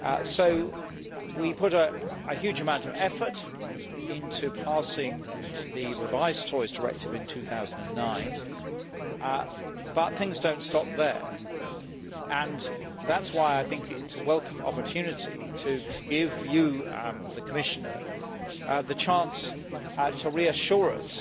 So we put a huge amount of effort into passing the revised Toys Directive in 2009. But things do not stop there, and that is why I think it is a welcome opportunity to give you, the Commission, the chance to reassure us